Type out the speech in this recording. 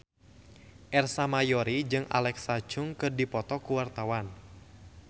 Ersa Mayori jeung Alexa Chung keur dipoto ku wartawan